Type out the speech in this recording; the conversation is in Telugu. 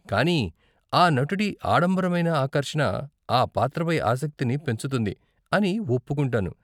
కానీ ఆ నటుడి ఆడంబరమైన ఆకర్షణ ఆ పాత్రపై ఆసక్తిని పెంచుతుంది అని ఒప్పుకుంటాను.